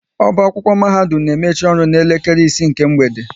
Ọba akwụkwọ mahadum na emechi ọrụ na elekere isii nke mgbede